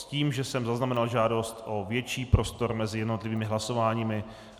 S tím, že jsem zaznamenal žádost o větší prostor mezi jednotlivými hlasováními.